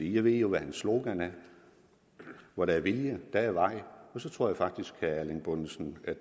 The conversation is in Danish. jeg ved jo hvad hans slogan er hvor der er vilje er der vej og så tror jeg faktisk vil erling bonnesen at